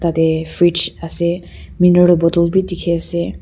dey fridge ase mineral bottle bi dikhi ase.